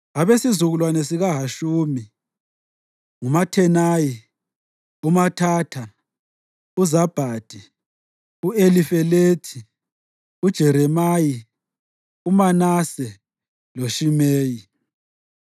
Abesizukulwane sikaHashumi: nguMathenayi, uMathatha, uZabhadi, u-Elifelethi, uJeremayi, uManase loShimeyi.